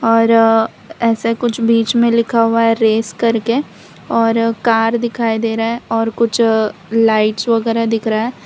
और ऐसे कुछ बीच में लिखा हुआ है रेस करके और कार दिखाई दे रहा है और कुछ लाइट्स वगैरा दिख रहा है।